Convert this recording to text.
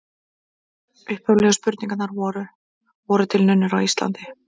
Upphaflegu spurningarnar voru: Voru til nunnur á Íslandi?